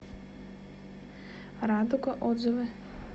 радуга отзывы